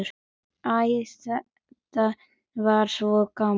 Æ, þetta var svo gaman.